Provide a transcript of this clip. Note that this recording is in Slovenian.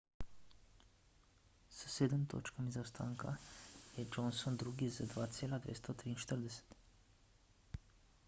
s sedem točkami zaostanka je johnson drugi z 2.243